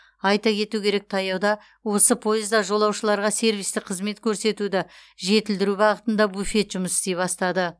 айта кету керек таяуда осы пойызда жолаушыларға сервистік қызмет көрсетуді жетілдіру бағытында буфет жұмыс істей бастады